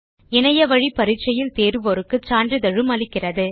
இணைய வழி பரிட்சையில் தேருவோருக்கு சான்றிதழ் அளிக்கிறது